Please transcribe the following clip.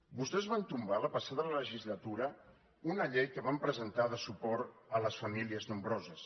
vostès van tombar la passada legislatura una llei que vam presentar de suport a les famílies nombroses